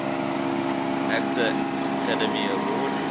actor academy award